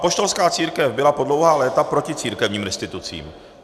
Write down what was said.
Apoštolská církev byla po dlouhá léta proti církevním restitucím.